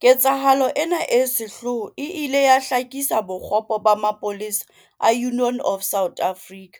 Ketsahalo ena e sehloho e ile ya hlakisa bokgopo ba mapolesa a Union of South Africa,